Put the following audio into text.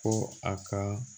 Ko a ka